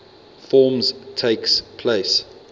forms takes place